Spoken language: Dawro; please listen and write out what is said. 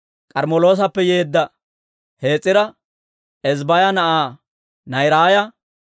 K'armmeloosappe yeedda Hes'ira, Ezbbaaya na'aa Naa'iraaya,